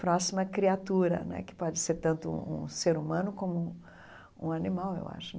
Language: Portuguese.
próxima criatura né, que pode ser tanto um ser humano como um animal, eu acho.